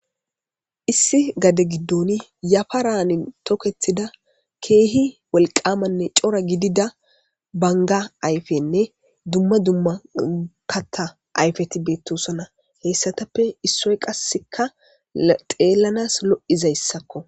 Issi gade giddoni yafa raanin tokethida keehi walqamanne cora gidida banga ayfenne dumma dumma kata ayfeti beettosona heyssatappe issoy qasseka xeellanas lo'izayssakko.